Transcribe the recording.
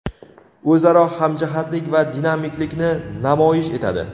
o‘zaro hamjihatlik va dinamiklikni namoyish etadi.